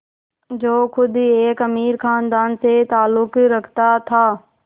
जो ख़ुद एक अमीर ख़ानदान से ताल्लुक़ रखता था